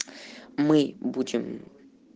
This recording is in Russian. мы будем